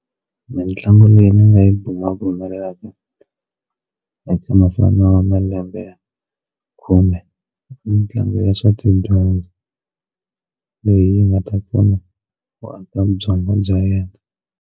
Mitlangu leyi ni nga yi bumabumelaka eka mufana wa malembe ya khume mitlangu ya swa tidyondzo leyi nga ta pfuna ku aka byongo bya yena.